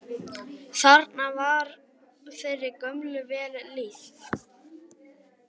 Þarna var þeirri gömlu vel lýst.